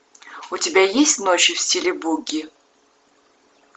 у тебя есть ночи в стиле буги